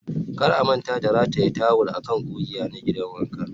kar a manta da rataya tawul a kan ƙugiya na gidan wanka